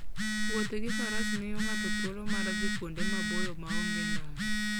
Wuotho gi faras miyo ng'ato thuolo mar dhi kuonde maboyo ma onge ndara.